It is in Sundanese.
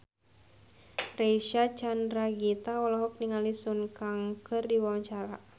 Reysa Chandragitta olohok ningali Sun Kang keur diwawancara